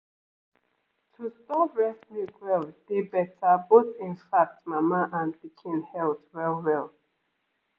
to store breast milk well dey better both in fact mama and pikin health well-well